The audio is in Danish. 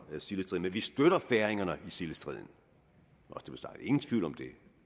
sildestriden men vi støtter færingerne i sildestriden ingen tvivl om det